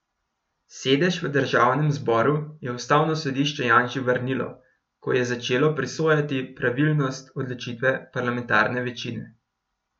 Sedež v državnem zboru je ustavno sodišče Janši vrnilo, ko je začelo presojati pravilnost odločitve parlamentarne večine.